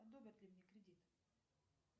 одобрят ли мне кредит